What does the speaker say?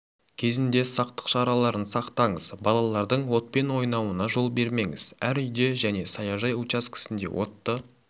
кезінде сақтық шараларын сақтаңыз балалардың отпен ойнауына жол бермеңіз әр үйде және саяжай учаскесінде отты